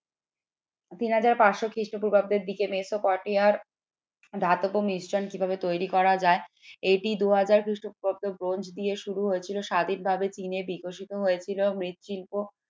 তিন হাজার পাঁচ শ খ্রিস্টপূর্বাব্দের দিকে মেসোপটে আর ধাতব মিশ্রণ কিভাবে তৈরি করা যায় এটি দু হাজার খ্রিস্টপূর্বাব্দ ব্রোঞ্জ দিয়ে শুরু হয়েছিল স্বাধীন ভাবে চিনে বিকশিত হয়েছিল মৃৎশিল্প